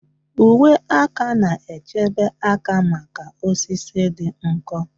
Uwe aka na-echebe aka maka osisi dị nkọ